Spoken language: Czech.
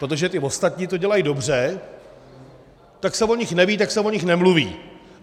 Protože ty ostatní to dělají dobře, tak se o nich neví, tak se o nich nemluví.